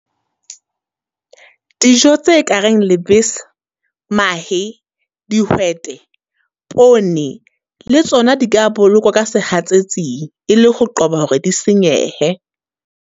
Dijo tse ka reng lebese, mahe, dihwete, pone le tsona di ka bolokwa ka sehatsetsing. E le ho qoba hore di senyehe.